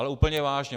Ale úplně vážně.